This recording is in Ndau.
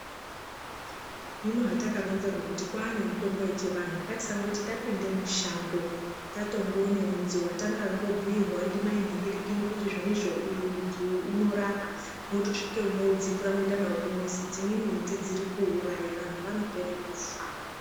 Hino hatakaronzerwa kuti kwaane mutombo yechivantu ngaisati tapinda mushango tatongoona mudzi watangobuirwswo mai nhingirikini kuti zvonizvo uyu mudzi uyu unorapa mwotosvika mwodzipura mwoenda kumuzi dzimweni miti dziri kuuraya vantu vanopera kufa.